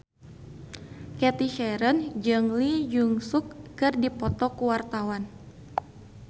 Cathy Sharon jeung Lee Jeong Suk keur dipoto ku wartawan